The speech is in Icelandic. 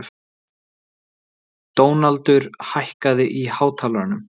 Dónaldur, hækkaðu í hátalaranum.